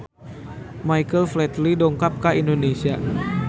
Michael Flatley dongkap ka Indonesia